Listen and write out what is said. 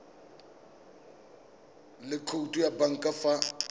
le khoutu ya banka fa